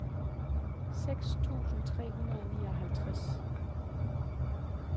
seks tusind tre hundrede og nioghalvtreds